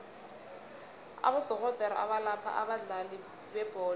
abodorhodere abalapha abadlali bebholo